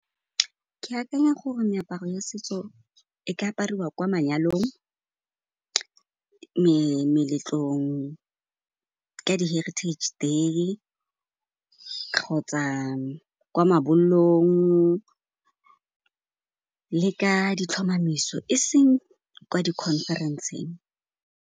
Ke akanya gore meaparo ya setso e ka apariwa kwa manyalong, meletlong, ka di Heritage Day kgotsa kwa mabollong le ka ditlhomamiso, eseng kwa di conference-eng.